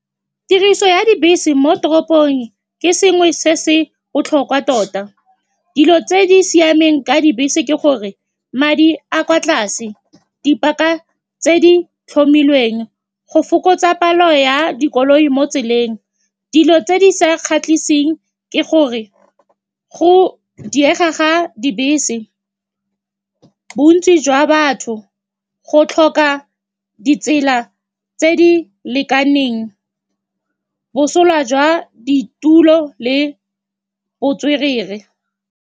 Tiriso ya dibese mo toropong ke sengwe se se botlhokwa tota. Dilo tse di siameng ka dibese ke gore madi a kwa tlase, dipaka tse di tlhomilweng go fokotsa palo ya dikoloi mo tseleng. Dilo tse di sa kgatlhiseng ke gore go diega ga dibese, bontsi jwa batho, go tlhoka ditsela tse di lekaneng, bosola jwa ditulo le botswerere.